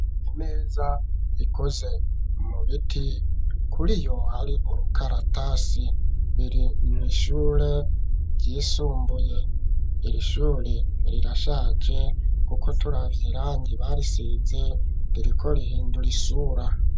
Imeza ikoze mu biti kuriyo ari urukaratasi biri nishure ry'isumbuye irishyure rirashaje kuko turavye rangi bariseze ririko rihindura isura.